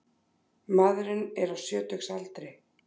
Maðurinn er á sjötugsaldri